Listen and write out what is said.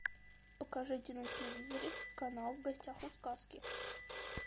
покажите на телевизоре канал в гостях у сказки